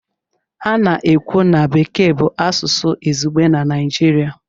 A na-ekwu na Bekee bụ asụsụ izugbe na Naịjirịa.